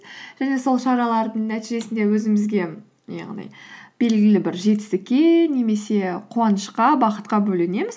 және сол шаралардың нәтижесінде өзімізге яғни белгілі бір жетістікке немесе қуанышқа бақытқа бөленеміз